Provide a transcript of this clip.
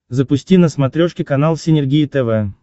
запусти на смотрешке канал синергия тв